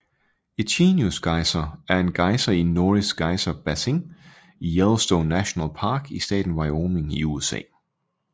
Echinus Geyser er en gejser i Norris Geyser Basin i Yellowstone National Park i staten Wyoming i USA